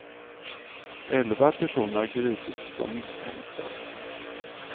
Elva personer har gripits som misstänkta.